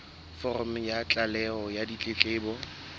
foromo ya tlaleho ya ditletlebo